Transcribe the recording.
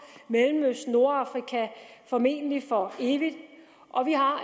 mellemøsten nordafrika formentlig for evigt og vi har